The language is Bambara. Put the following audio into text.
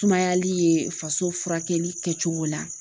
Sumayali ye faso furakɛli kɛcogo la